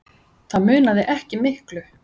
Það munaði ekki miklu.